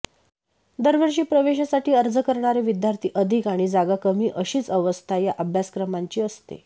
दरवर्षी प्रवेशासाठी अर्ज करणारे विद्यार्थी अधिक आणि जागा कमी अशीच अवस्था या अभ्यासक्रमांची असते